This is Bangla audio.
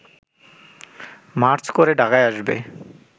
মার্চ করে ঢাকায় আসবে